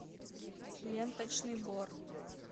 ленточный бор